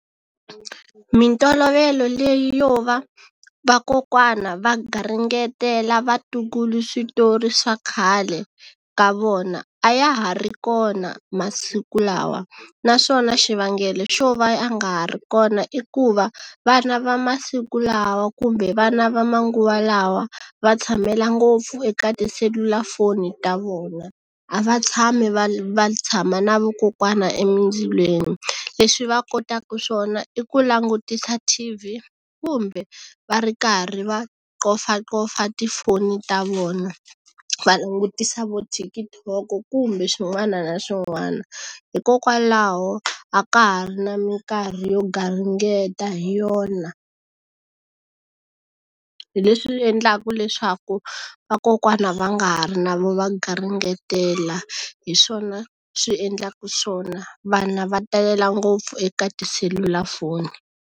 Mintolovelo leyi yo va vakokwana va garingetela vatukulu switori swa khale ka vona a ya ha ri kona masiku lawa, naswona xivangelo xo va ya nga ha ri kona i ku va vana va masiku lawa kumbe vana va manguva lawa va tshamela ngopfu eka tiselulafoni ta vona. A va tshami va va tshama na vokokwana emindzilweni. Leswi va kotaka swona i ku langutisa T_V kumbe va ri karhi va qofaqofa tifoni ta vona, va langutisa vo TikTok-o kumbe swin'wana na swin'wana. Hikokwalaho a ka ha ri na minkarhi yo garingeta hi yona. Hi leswi endlaka leswaku vakokwana va nga ha ri na vo va garingetela, hi swona swi endlaka swona, vana va talela ngopfu eka tiselulafoni.